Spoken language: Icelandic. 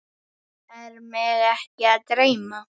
Er mig ekki að dreyma?